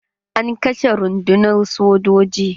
An kashe rundunar sojoji.